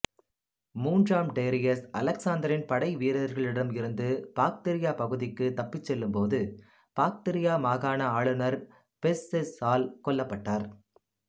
மூன்றாம் டேரியஸ் அலெக்சாந்தரின் படைவீரர்களிடமிருந்து பாக்திரியா பகுதிக்கு தப்பிச் செல்லும் போது பாக்திரியா மாகாண ஆளுநர் பெஸ்செஸ்சால் கொல்லப்பட்டார்